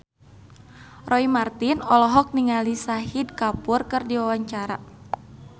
Roy Marten olohok ningali Shahid Kapoor keur diwawancara